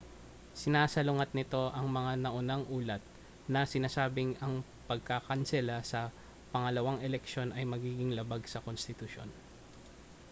sinasalungat nito ang mga naunang ulat na sinasabing ang pagkakansela sa pangalawang eleksiyon ay magiging labag sa konstitusyon